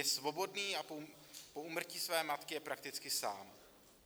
Je svobodný a po úmrtí své matky je prakticky sám.